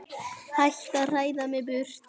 Hættu að hræða mig burt.